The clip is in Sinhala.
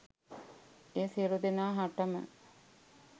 එය සියලුදෙනා හටම